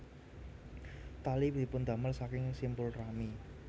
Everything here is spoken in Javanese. Tali dipundamel saking simpul rami